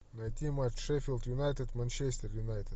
найти матч шеффилд юнайтед манчестер юнайтед